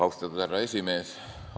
Austatud härra aseesimees!